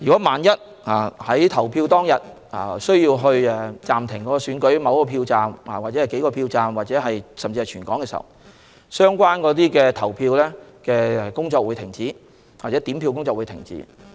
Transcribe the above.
萬一在投票當天需要暫停某個或數個票站，甚至發生涉及全香港的事情，相關投票工作或點票工作便會停止。